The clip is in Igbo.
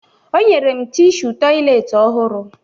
O nyere m tishu tọyịleetị ọhụrụ